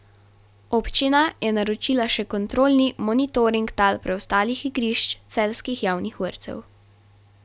Občina je naročila še kontrolni monitoring tal preostalih igrišč celjskih javnih vrtcev.